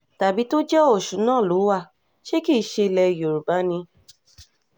tàbí tó jẹ́ ọ̀ṣun náà ló wá ṣe kì í ṣe ilẹ̀ yorùbá ni